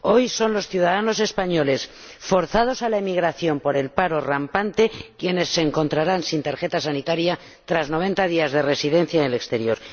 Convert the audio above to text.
Hoy son los ciudadanos españoles, forzados a emigrar por el paro rampante, quienes se encontrarán sin tarjeta sanitaria tras 90 días de residencia en el exterior.